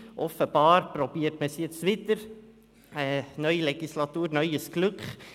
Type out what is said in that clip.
Offenbar versucht man es nun wieder: neue Legislatur – neues Glück.